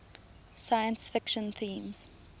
science fiction themes